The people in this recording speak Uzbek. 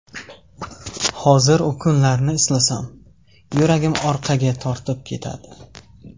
Hozir u kunlarni eslasam, yuragim orqaga tortib ketadi.